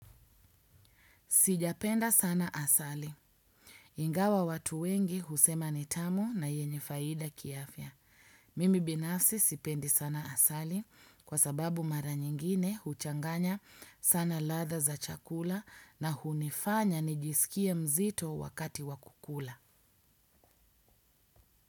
Sijapenda sana asali. Ingawa watu wengi husema ni tamu na yenye faida kiafya. Mimi binafsi sipendi sana asali kwa sababu mara nyingine huchanganya sana ladha za chakula na hunifanya nijisikie mzito wakati wa kukula.